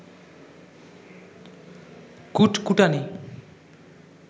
কুটকুটানি